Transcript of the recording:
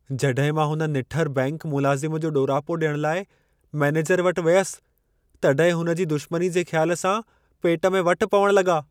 जॾहिं मां हुन निठर बैंकि मुलाज़िम जो ॾोरापो ॾियण लाइ मैनेजर वटि वियसि, तॾहिं हुनजी दुशमनीअ जे ख़्याल सां, पेट में वट पवण लॻा।